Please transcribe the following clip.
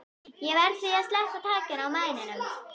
Ég verð því að sleppa takinu á mæninum.